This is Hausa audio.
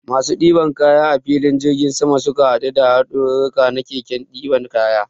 Masu ɗiban kaya a filin jirgin sama, sukan haɗu da haɗarurruka na keken ɗiban kaya.